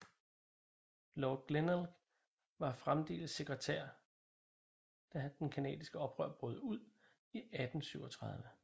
Lord Glenelg var fremdeles sekretær da den canadiske oprør brød ud i 1837